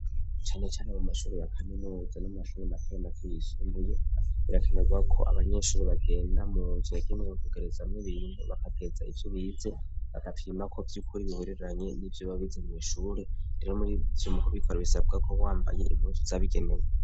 Canecane amu mashuri ya kami n'uwza n'umashumi amatera mako yisunduye birekanarwa ko abanyeshuri bagenda munzu yagenezwa kugerezamwo ibinntu bagateza ikyo bize bagakimako vy'ukuri bibereranye n'ivyo babiza mwishure rero muri vyo mukubikora bisabwako wambaye impuzu zabigenewe.